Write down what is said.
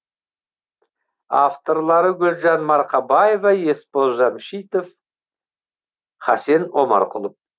авторлары гүлжан марқабаева есбол жамшитов хасен омарқұлов